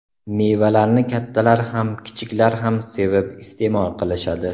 Mevalarni kattalar ham kichiklar ham sevib iste’mol qilishadi.